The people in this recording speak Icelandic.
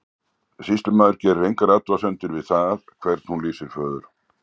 Sýslumaður gerir engar athugasemdir við það hvern hún lýsir föður.